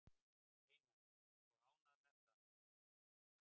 Einar: Og ánægð með það?